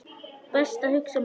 Best að hugsa málið.